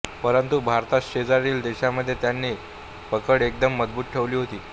परंतु भारताशेजारील देशांमध्ये त्यांनी पकड एकदम मजबूत ठेवली होती